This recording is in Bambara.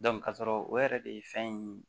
ka sɔrɔ o yɛrɛ de ye fɛn in